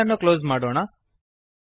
file ಅನ್ನು close ಮಾಡೋಣ